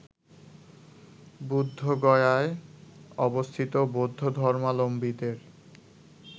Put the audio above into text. বুদ্ধগয়ার অবস্থিত বৌদ্ধধর্মালম্বীদের